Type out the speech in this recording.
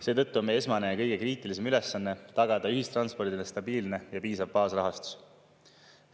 Seetõttu on meie esmane ja kõige kriitilisem ülesanne tagada ühistranspordile stabiilne ja piisav baasrahastus.